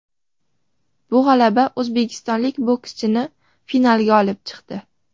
Bu g‘alaba o‘zbekistonlik bokschini finalga olib chiqdi.